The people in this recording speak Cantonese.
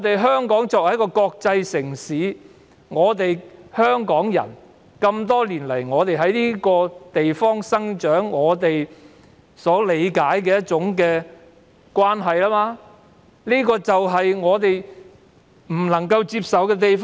香港作為一個國際城市，香港人多年來在這個地方土生土長，我們所理解的愛國與內地截然不同，這就是我們無法接受的地方。